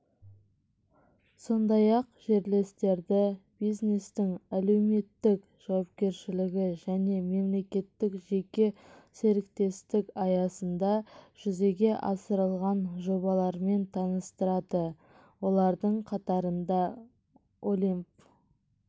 сондай-ақ жерлестерді бизнестің әлеуметтік жауапкершілігі және мемлекеттік-жеке серіктестік аясында жүзеге асырылған жобалармен таныстырады олардың қатарында олимп